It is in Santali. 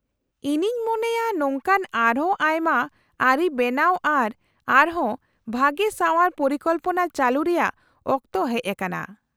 -ᱤᱧᱤᱧ ᱢᱚᱱᱮᱭᱟ , ᱱᱚᱝᱠᱟᱱ ᱟᱨᱦᱚᱸ ᱟᱭᱢᱟ ᱟᱹᱨᱤ ᱵᱮᱱᱟᱣ ᱟᱨ ᱟᱨᱦᱚᱸ ᱵᱷᱟᱹᱜᱤ ᱥᱟᱣᱟᱨ ᱯᱚᱨᱤᱠᱚᱞᱯᱚᱱᱟ ᱪᱟᱹᱞᱩ ᱨᱮᱭᱟᱜ ᱚᱠᱛᱚ ᱦᱮᱡ ᱟᱠᱟᱱᱟ ᱾